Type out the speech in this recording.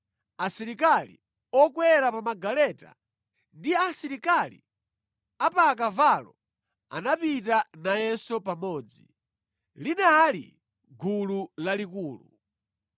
Asilikali okwera pa magaleta ndi asilikali a pa akavalo anapita nayenso pamodzi. Linali gulu lalikulu.